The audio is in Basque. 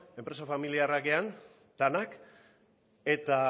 enpresa familiarrak denak eta